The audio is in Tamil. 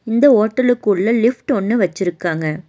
இந்த ஹோட்டலுக்குள்ள லிஃப்ட் ஒன்னு வச்சிருக்காங்க.